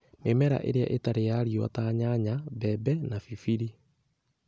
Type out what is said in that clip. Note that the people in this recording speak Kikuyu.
Mĩmera ĩrĩa ĩtarĩ ya riũa ta nyanya, mbembe na pipiri